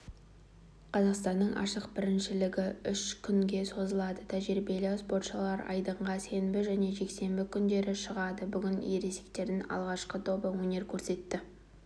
қазақстанның ашық біріншілігі үш күнге созылады тәжірибелі спортшылар айдынға сенбі және жексенбі күндері шығады бүгін ересектердің алғашқы тобы өнер көрсетті